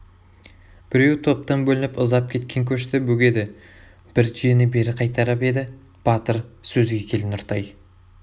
біреуі топтан бөлініп ұзап кеткен көшті бөгеді бір түйені бері қайтарып еді батыр сөзге кел нұртай